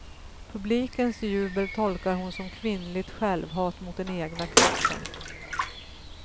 Publikens jubel tolkar hon som kvinnligt självhat mot den egna kroppen.